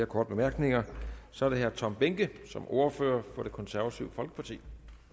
korte bemærkninger så er det herre tom behnke som ordfører for det konservative folkeparti